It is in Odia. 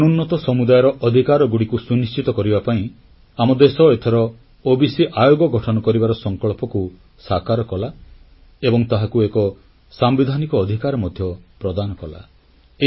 ଅନୁନ୍ନତ ସମୁଦାୟର ଅଧିକାରଗୁଡ଼ିକୁ ସୁନିଶ୍ଚିତ କରିବା ପାଇଁ ଆମ ଦେଶ ଏଥର ଓବିସି ଆୟୋଗ ଗଠନ କରିବାର ସଂକଳ୍ପକୁ ସାକାର କଲା ଏବଂ ତାହାକୁ ଏକ ସାମ୍ବିଧାନିକ ଅଧିକାର ମଧ୍ୟ ପ୍ରଦାନ କଲା